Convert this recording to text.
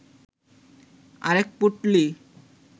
আরেক পুঁটলি